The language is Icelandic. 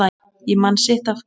Ég man sitt af hverju